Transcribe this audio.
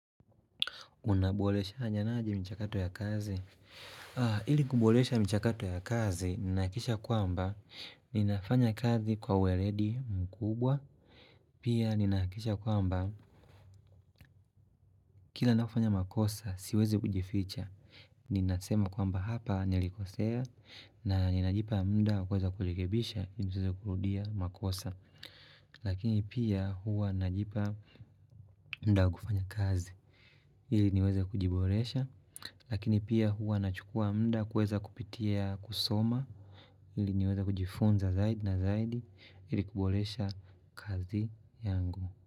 Unaboleshanyanaji michakato ya kazi? Ili kubolesha michakato ya kazi, nihakisha kwamba, ninafanya kazi kwa uweredi mkubwa. Pia ninahakikisha kwamba, kila napofanya makosa, siwezi kujificha. Ninasema kwamba hapa nilikosea, na ninajipa muda wa kuweza kurekebisha, ninajipa kurudia makosa. Lakini pia huwa najipa muda wa kufanya kazi. Ili niweza kujiboresha lakini pia huwa nachukua muda kuweza kupitia kusoma ili niweze kujifunza zaidi na zaidi ili kuboresha kazi yangu.